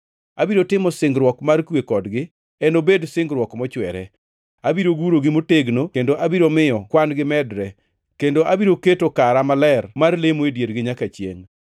Abiro timo singruok mar kwe kodgi, enobed singruok mochwere. Abiro gurogi motegno kendo abiro miyo kwan-gi medre, kendo abiro keto kara maler mar lemo e diergi nyaka chiengʼ.